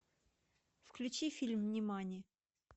включи фильм нимани